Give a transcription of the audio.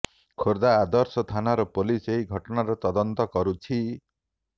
ଖୋର୍ଦ୍ଧା ଆଦର୍ଶ ଥାନାର ପୋଲିସ୍ ଏହି ଘଟଣାର ତଦନ୍ତ କରୁଛି